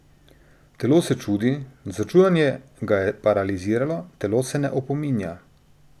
Telo se čudi, začudenje ga je paraliziralo, telo se ne opominja.